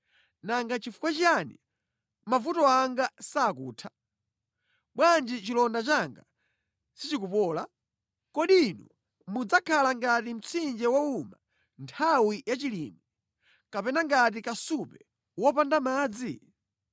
Nanga nʼchifukwa chiyani mavuto anga sakutha? Bwanji chilonda changa sichikupola? Kodi inu mudzakhala ngati mtsinje wowuma nthawi yachilimwe, kapena ngati kasupe wopanda madzi?”